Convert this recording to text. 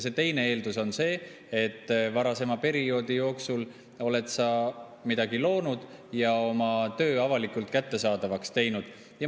See teine eeldus on see, et varasema perioodi jooksul oled sa midagi loonud ja oma töö avalikult kättesaadavaks teinud.